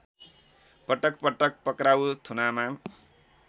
पटकपटक पक्राउ थुनामा